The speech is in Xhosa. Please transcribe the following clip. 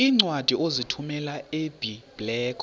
iincwadi ozithumela ebiblecor